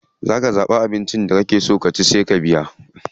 Za ka zaɓi abinci da kake so ka ci sai ka biya.